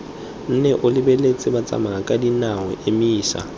nne o lebeletse batsamayakadinao emisa